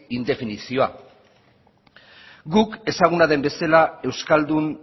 indefinizioa guk ezaguna den bezela euskaldun